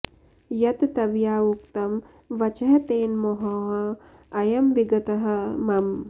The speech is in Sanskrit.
यत् त्वया उक्तम् वचः तेन मोहः अयम् विगतः मम